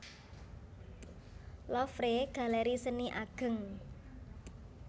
Louvre galeri seni ageng